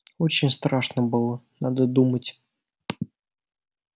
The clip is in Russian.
очень страшно было надо думать